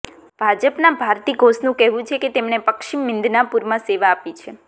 ભાજપના ભારતી ઘોષનું કહેવું છે કે તેમણે પશ્ચિમ મિદનાપુરમાં સેવા આપી છે